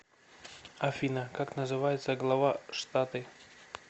афина как называется глава штаты